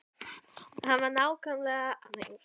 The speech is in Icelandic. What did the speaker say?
Hann var ákaflega hávaxinn og hárið geislandi bjart.